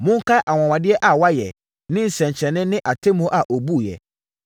Monkae anwanwadeɛ a wayɛ, ne nsɛnkyerɛnneɛ ne atemmuo a ɔbuiɛ.